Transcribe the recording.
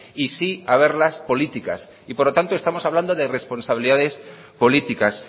y sí haberlas políticas y por lo tanto estamos hablando de responsabilidades políticas